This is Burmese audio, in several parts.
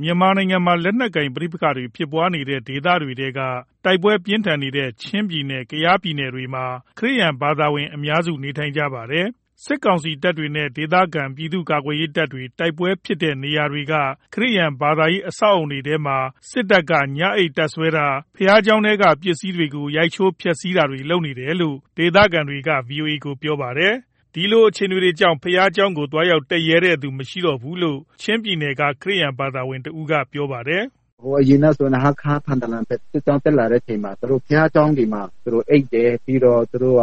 မြန်မာနိုင်ငံမှာ လက်နက်ကိုင်ပဋိပက္ခတွေဖြစ်နေတဲ့ ဒေသတွေထဲက တိုက်ပွဲပြင်းထန်နေတဲ့ ချင်းပြည်နယ်၊ ကယားပြည်နယ်တို့မှာ ခရစ်ယာန်ဘာသာဝင်အများစု နေထိုင်ကြပါတယ်။ စစ်ကောင်စီတပ်တွေနဲ့ ဒေသခံပြည်သူ့ကာကွယ်ရေးတပ်တွေ တိုက်ပွဲတွေဖြစ်တဲ့နေရာတွေက ခရစ်ယာန် ဘာသာရေး အဆောက်အဦးတွေထဲမှာ စစ်တပ်က ညအိပ်တပ်စွဲတာ၊ ဘုရားကျောင်းထဲက ပစ္စည်းတွေကို ရိုက်ချိုး ဖျက်ဆီးတာတွေ လုပ်တယ်လို့ ဒေသခံတွေက ဗွီအိုအေကို ပြောပါတယ်။ ဒီလိုအခြေအနေကြောင့် ဘုရားကျောင်းတက်ရဲသူမရှိဖြစ်နေတယ်လို့ ချင်းပြည်နယ်က ခရစ်ယာန်ဘာသာဝင်တဦးက ပြောပါတယ်။ “ဟိုအရင်ကဆိုရင် ဟားခါး၊ ထန်တလန်ဘက် စစ်ကြောင်းတက်လာတဲ့အချိန်မှာ ဘုရားကျောင်းတွေမှာ သူတို့ အိပ်တယ်၊ ပြီးတော့ သူတို့က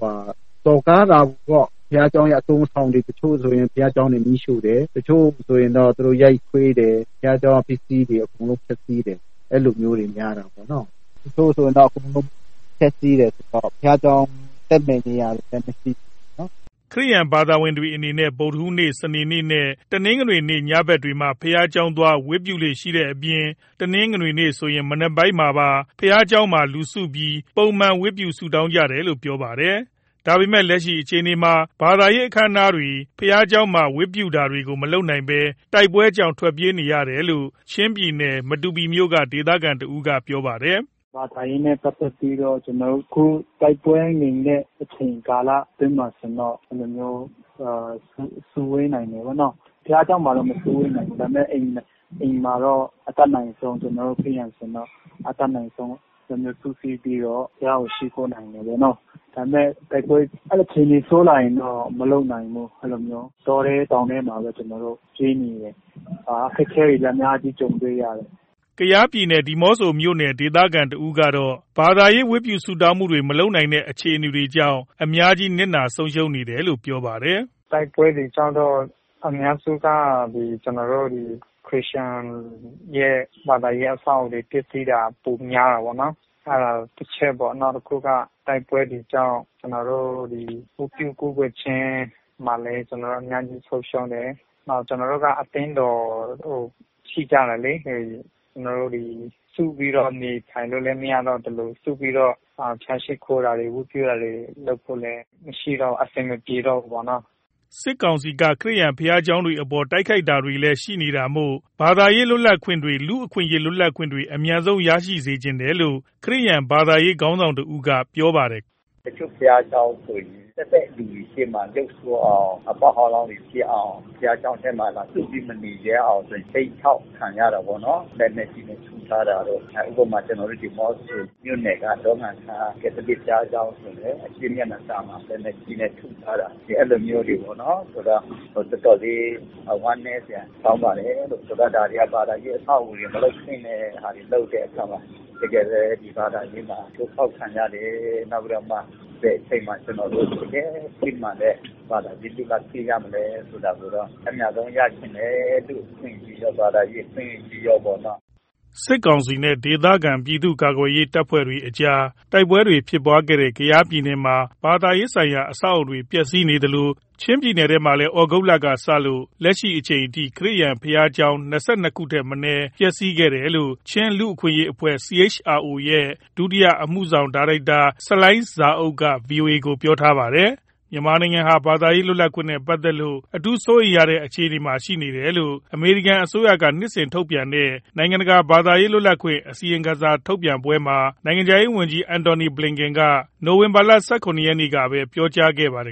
ဟိုဟာ စော်ကားတာပေါ့၊ ဘုရားကျောင်းရဲ့ အသုံးအဆောင်တွေ တချို့ဆိုရင် ဘုရားကျောင်းတွေ မီးရှို့တယ်၊ တချို့ဆိုရင်တော့ သူတို့ ရိုက်ခွဲတယ်၊ ဘုရားကျောင်းကပစ္စည်းတွေ အကုန်လုံးပျက်စီးတယ်။ အဲ့လိုမျိုးတွေ များတာပေါ့နော်၊ တချို့ဆိုရင်တော့ အကုန်လုံးဖျက်ဆီးတယ် ဆိုတော့ ဘုရားကျောင်းတက်မယ့်နေရာတွေလည်း မရှိဘူးပေါ့နော်။” ခရစ်ယာန်ဘာသာဝင်တွေအနေနဲ့ ဗုဒ္ဓဟူးနေ့၊ စနေနေ့နဲ့ တနင်္ဂနွေနေ့ ညဘက်တွေမှာ ဘုရားကျောင်းသွား ဝတ်ပြုကြလေ့ရှိတဲ့အပြင် တနင်္ဂနွေနေ့ဆိုရင် မနက်ပိုင်းမှာပါ ဘုရားကျောင်းမှာ လူစုပြီး ပုံမှန် ဝတ်ပြု ဆုတောင်းကြတယ်လို့ ပြောပါတယ်။ ဒါပေမယ့် လက်ရှိအခြေအနေမှာ ဘာသာရေးအခမ်းအနားတွေ ဘုရားကျောင်းမှာ ဝတ်ပြုတာတွေကို မလုပ်နိုင်ဘဲ တိုက်ပွဲကြောင့် ပြေးနေရတယ်လို့ ချင်းပြည်နယ် မတူပီမြို့နယ်က ဒေသခံတဦးက ပြောပါတယ်။ “ဘာသာရေးနဲ့ ပတ်သက်ပြီး အခု တိုက်ပွဲငြိမ်တဲ့ အချိန်ကာလအတွင်းမှာဆိုရင်တော့ အဲ့လိုမျိုး စုဝေးနိုင်တယ်၊ ဘုရားကျောင်းမှာဆိုရင် မစုဝေးနိုင်ဘူး၊ ဒါပေမယ့် အိမ်မှာတော့ အတတ်နိုင်ဆုံး ကျနော်တို့ ခရစ်ယာန် ဆိုရင်တော့ အတတ်နိုင်ဆုံး ကျနော်တို့ စုစည်းပြီတော့ ဘုရားကို ရှိခိုးနိုင်တာပေါ့နော်၊ ဒါပေမယ့် တိုက်ပွဲ အခြေအနေဆိုးလာရင်တော့ မလုပ်နိုင်ဘူး အဲ့လိုမျိုးပေါ့နော်၊ တောထဲတောင်ထဲမှာပဲ ကျနော်တို့ပြေးနေ တယ်၊ အခက်အခဲတွေ အများကြီး ကြုံတွေ့ရတယ်။” ကယားပြည်နယ် ဒီးမော့ဆိုမြို့နယ် ဒေသခံတဦးကတော့ ဘာသာရေး ဝတ်ပြုဆုတောင်းမှုတွေ မလုပ်နိုင်တဲ့ အခြေအနေကြောင့် အများကြီး နစ်နာဆုံးရှုံးနေတယ်လို့ ပြောပါတယ်။ “တိုက်ပွဲတွေကြောင့် အများစုက ကျနော်တို့ ဒီခရစ်ယာန်ရဲ့ ဘာသာရေးအဆောက်အဦးတွေ ပျက်စီးတာ ပိုများတယ်ပေါ့နော်၊ အဲ့ဒါတချက်ပေါ့၊ နောက်တခုက တိုက်ပွဲတွေကြောင့် ကျနော်တို့ ဒီ ဝတ်ပြုကာကွယ်ခြင်း မှာလည်း ကျနော်တို့ အများကြီးဆုံးရှုံးတယ်၊ နောက် ကျနော်တို့က အသင်းတော်ရှိကြတယ်လေ၊ ကျနော်တို့ ဒီ စုပြီးတော့ နေထိုင်လို့လည်း မရတော့သလို စုပြီးတော့ ဘုရားရှိခိုးတာတွေ ဝတ်ပြုတာတွေ လုပ်ဖို့လည်းမရှိတော့ဘူး၊ အဆင်မပြေတော့ဘူးပေါ့နော်။” စစ်ကောင်စီက ခရစ်ယာန်ဘုရားကျောင်းတွေအပေါ် တိုက်ခိုက်တာတွေလည်း ရှိနေတာမို့ ဘာသာရေး လွတ်လပ်ခွင့်တွေ လူ့အခွင့်အရေးလွတ်လပ်ခွင့်တွေ အမြန်ဆုံးရစေချင်တယ်လို့ ခရစ်ယာန်ဘာသာရေး ခေါင်းဆောင်တဦးကပြောပါတယ်။ “တချို့ဘုရားကျောင်းဆိုရင် တက်တဲ့လူတွေရှေ့မှာ ရုပ်ဆိုးအောင် အပေါက်ဟောင်းလောင်းတွေ ဖြစ်အောင် ဘုရားကျောင်းထဲမှာ လာစုပြီး မနေရဲအောင် ခြိမ်းခြောက်ခံရတာပေါ့နော်၊ လက်နက်ကြီးနဲ့ ထုထားတာတို့ ဥပမာ ကျနော်တို့ ဒီးမော့ဆိုမြို့နယ်က ဒေါငံခါး ကက်သလစ်ဘုရားကျောင်းဆိုလည်း အရှေ့မျက်နှာစာမှာ လက်နက်ကြီးနဲ့ ထုထားတာ အဲ့လိုမျိုးတွေပေ့ါနော်၊ ဆိုတော့ တော်တော်လေး ဝမ်းနည်းစရာကောင်းပါတယ် လို့ ဒါတွေက ဘာသာရေးအဆောက်အဦးတွေ မလုပ်သင့်တဲ့ဟာတွေ လုပ်တဲ့အခါမှာ တကယ်ပဲ ဒီ ဘာသာရေးမှာ ချိုးဖောက်ခံရတယ်လို့ နောက်ပြီးတော့မှ ဘယ်အချိန်မှာ ကျနော်တို့ တကယ့်စစ်မှန်တဲ့ ဘာသာရေးလွတ်လပ်ခွင့်မရလဲဆိုတာကိုတော့ အမြန်ဆုံးရချင်တယ်၊ လူ့အခွင့်အရေးရော ဘာသာရေး အခွင့်အရေးရောပေ့ါနော်။” စစ်ကောင်စီနဲ့ ဒေသခံပြည်သူ့ကာကွယ်ရေးအဖွဲ့တွေကြား တိုက်ပွဲဖြစ်ပွားခဲ့တဲ့ ကယားပြည်နယ်မှာ ဘာသာရေးဆိုင်ရာ အဆောက်အဦးတွေ ပျက်စီးနေသလို ချင်းပြည်နယ်ထဲမှာလည်း သြဂုတ်လကစလို့ လက်ရှိအချိန်အထိ ခရစ်ယာန်ဘုရားကျောင်း ၂၂ ခုထက်မနည်း ပျက်စီးခဲ့တယ်လို့ ချင်းလူ့အခွင့်အရေး အဖွဲ့ CHRO ရဲ့ ဒုတိယအမှုဆောင်ဒါရိုက်တာ ဆလိုင်းဇာအုပ်က ဗွီအိုအေကို ပြောထားပါတယ်။ မြန်မာနိုင်ငံဟာ ဘာသာရေးလွတ်လပ်ခွင့်နဲ့ပတ်သက်လို့ အထူးစိုးရိမ်ရတဲ့ အခြေအနေရှိနေတယ်လို့ အမေရိကန်အစိုးရက နှစ်စဉ်ထုတ်ပြန်တဲ့ နိုင်ငံတကာ ဘာသာရေးလွတ်လပ်ခွင့် အစီရင်ခံစာထုတ်ပြန်ပွဲမှာ နိုင်ငံခြားရေးဝန်ကြီး Antony Blinken က နိုဝင်ဘာလ ၁၇ ရက်နေ့ကပဲ ပြောကြားခဲ့ပါတယ်